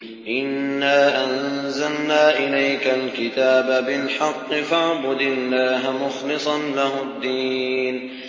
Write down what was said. إِنَّا أَنزَلْنَا إِلَيْكَ الْكِتَابَ بِالْحَقِّ فَاعْبُدِ اللَّهَ مُخْلِصًا لَّهُ الدِّينَ